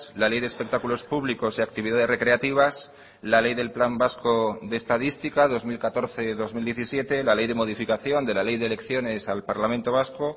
la ley de espectáculos públicos y actividades recreativas la ley del plan vasco de estadística dos mil catorce dos mil diecisiete la ley de modificación de la ley de elecciones al parlamento vasco